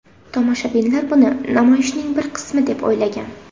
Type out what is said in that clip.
Tomoshabinlar buni namoyishning bir qismi deb o‘ylagan.